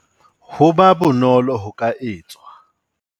Ho ba bonolo ho ka etswa.